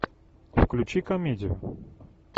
включи комедию